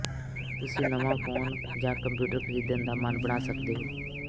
ਤੁਸੀ ਨਵਾਂ ਫੋਨ ਜਾਂ ਕੰਪਿਊਟਰ ਖਰੀਦਣ ਦਾ ਮਨ ਬਣਾ ਸੱਕਦੇ ਹੋ